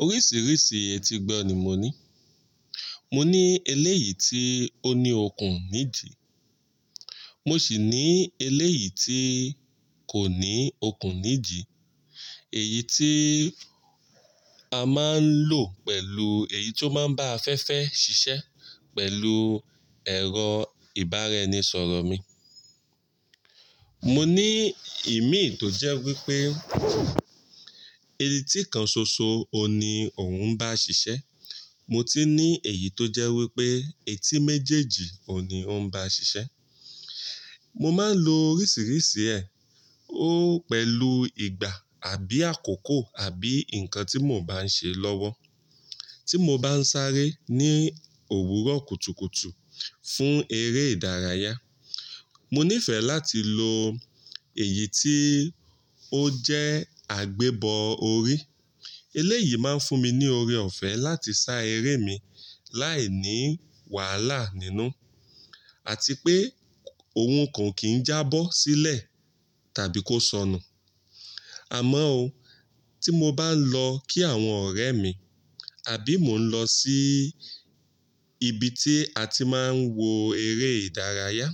Oríṣiríṣi ètí gbọ ni mo ní. Mo ní eléyìí tí ó ní okùn méjì, mo sì ní eléyìí tí kò ní okùn méjì. Èyí tí a máa ń lò pẹ̀lú èyí tó máa ń bá afẹ́fẹ́ ṣiṣẹ́ pẹ̀lú ẹ̀rọ ìbáraẹnisọ̀rọ̀ mi. Mo ní ìmíì tó jẹ́ wípé etí kan ṣoṣo òní òuń bá ṣiṣẹ́. Mo ti ní èyí tó jẹ́ wípé etí méjèèjì òní ń bá ṣiṣẹ́. Mo máa ń lo oríṣiríṣi ẹ̀, ó pẹ̀lú ìgbà àbí àkókò àbí nǹkan tí mò ń bá ṣe lọ́wọ́. Tí mo bá ń sáré ní òwúrọ̀ kùtùkùtù fún eré ìdárayá, mo nífẹ̀ẹ́ láti lo èyí tí ó jẹ́ àgbébọ orí. Eléyìí máa ń fún mi ní oore ọ̀fẹ́ láti sá eré mi láìní wàhálà nínú àti pé ohun ko ń kì í jábọ́ sílẹ̀ tàbí kó sọnù. Àmọ́ ó, tí mo bá ń lọ kí àwọn ọ̀rẹ́ mi, àbí mò ń lọ sí ibi tí a ti máa ń wo eré ìdárayá,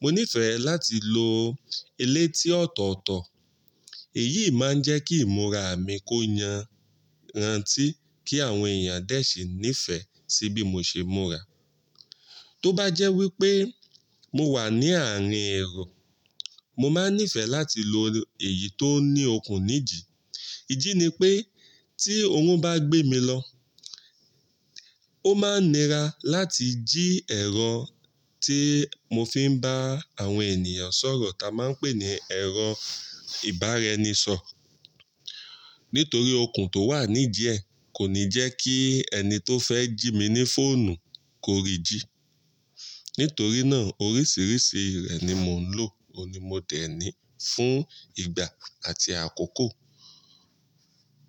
mo nífẹ̀ẹ́ láti lo eléyí tí ọ̀tọ̀ọ̀tọ̀. Èyí máa ń jẹ́ kí ìmúra mi kó yanra ntí kí àwọn èèyàn dẹ́ ṣe nífẹ̀ẹ́ sí bí mo ṣe ìmúra. Tó bá jẹ́ wípé mo wà ní àárín ẹ̀ro, mo máa ń nífẹ̀ẹ́ láti lo èyí tó ní okùn méjì. IJí ni pé tí òrun bá gbé mi lọ, ó máa ń nira láti jí ẹ̀rọ tí mo fi ń bá àwọn ènìyàn sọ̀rọ̀ ta máa ń pè ní ẹ̀rọ ìbáraẹnisọ̀rọ̀. Nítorí okùn tó wà ní idi ẹ́ kò ní jẹ́ kí ẹni tó fẹ́ jí mi ní fóònù kó rí jí. Nítorí náà oríṣiríṣi rẹ̀ ni mò ń lò oní mo dẹ̀ ní fún ìgbà àti àkókò.